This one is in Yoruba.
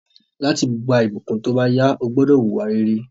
Láti gba ìbùkún tóbáyá, o gbúdọ̀ wùwà rere